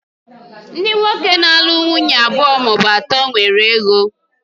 Ndị nwoke na-alụ nwunye abụọ ma ọ bụ atọ nwere ego